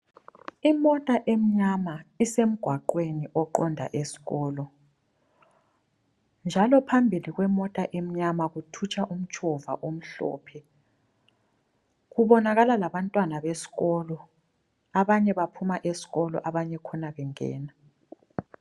Imota emnyama isemgwaqweni oqonda esikolo njalo phambili kwemota emnyama kuthutsha umtshova omhlophe, kubonakala labantwana besikolo abanye baphuma esikolo abanye khona bengena.